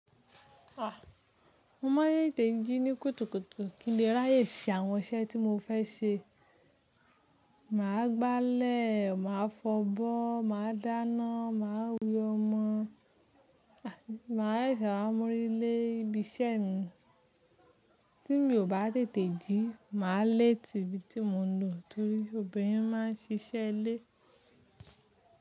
Ah! Mo máa tètè jí ní kùtùkùtù ki n lè ráyè sí àwọn iṣẹ́ tí mo fẹ́ ṣe. Màá gbálẹ̀, màa fọbọ́, màa dáná, màa we ọmọ, màá ṣẹ se wá mú orí lé ibi iṣẹ́ mi. Tí mo bá tètè jí, mà á lè tate ibi tí mo ń lò torí obìnrin máa ń ṣiṣẹ́ ilé.